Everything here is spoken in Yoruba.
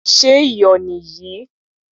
Ṣé iyò nì yìí?